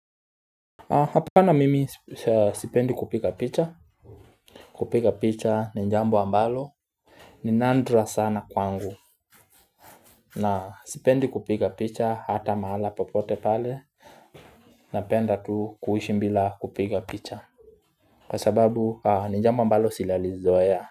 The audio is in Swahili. Hapana mimi sipendi kupiga picha kupiga picha ni jambo ambalo ni nandra sana kwangu na sipendi kupiga picha hata mahala popote pale napenda tu kuishi bila kupiga picha kwa sababu ni jambo ambalo silalizoea.